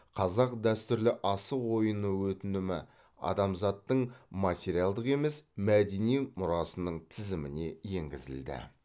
қазақ дәстүрлі асық ойыны өтінімі адамзаттың материалдық емес мәдени мұрасының тізіміне енгізілді